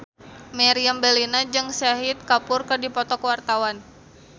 Meriam Bellina jeung Shahid Kapoor keur dipoto ku wartawan